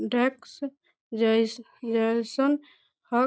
Desks जेस जेसन हक।